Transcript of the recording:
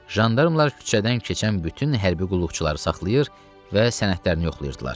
Jandarmılar küçədən keçən bütün hərbi qulluqçuları saxlayır və sənədlərini yoxlayırdılar.